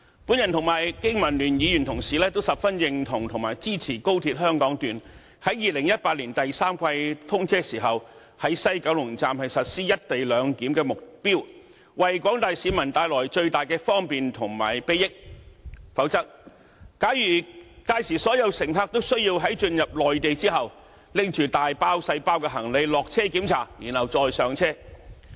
我和經民聯議員同事都十分認同和支持高鐵香港段在2018年第三季通車時，在西九龍站實施"一地兩檢"，為廣大市民帶來最大的方便及裨益；否則，屆時所有高鐵乘客都需要在進入內地後，拿着大包小包行李下車通過檢查，然後再上車。